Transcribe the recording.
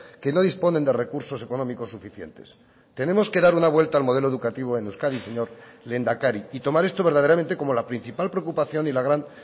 que no disponen de recursos económicos suficientes tenemos que dar una vuelta al modelo educativo en euskadi señor lehendakari y tomar esto verdaderamente como la principal preocupación y la gran